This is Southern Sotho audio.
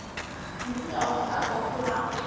mofuta ofe kapa ofe wa